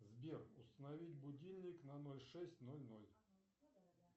сбер установить будильник на ноль шесть ноль ноль